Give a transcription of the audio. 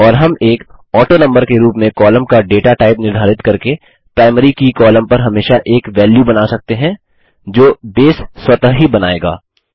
और हम एक ऑटोनंबर के रूप में कॉलम का डेटा टाइप निर्धारित करके प्राइमरी की कॉलम पर हमेशा एक वेल्यू बना सकते हैं जो बेस स्वतः ही बनाएगा